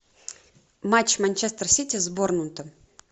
матч манчестер сити с борнмутом